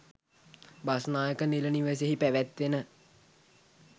බස්නායක නිල නිවසෙහි පැවැත්වෙන